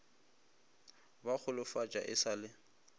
ba golofatša e sa le